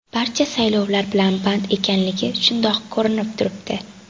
Barcha saylovlar bilan band ekanligi shundoq ko‘rinib turibdi.